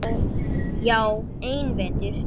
Já, einn vetur.